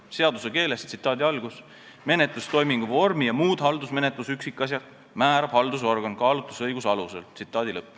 Seaduse keeles: menetlustoimingu vormi ja muud haldusmenetluse üksikasjad määrab haldusorgan kaalutlusõiguse alusel.